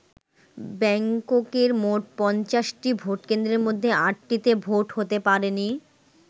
ব্যাংককের মোট ৫০টি ভোটকেন্দ্রের মধ্যে আটটিতে ভোট হতে পারেনি।